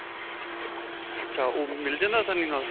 ਅੱਛਾ ਓਹ ਮਿਲ ਜਾਂਦਾ ਆਸਾਨੀ ਨਾਲ?